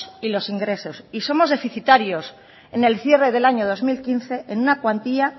y los ingresos y somos deficitarios en el cierre del año dos mil quince en una cuantía